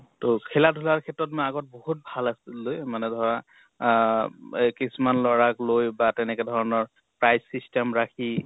ত খেলা ধুলাৰ ক্ষেত্ৰত মই আগত বহুত ভাল আছিলোঁ। মানে ধৰা আহ এহ কিছুমান লʼৰাক লৈ বা তেনেকে ধৰণৰ prize system ৰাখি